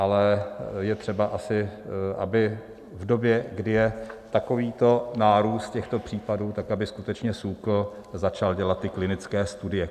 Ale je třeba asi, aby v době, kdy je takovýto nárůst těchto případů, tak aby skutečně SÚKL začal dělat ty klinické studie.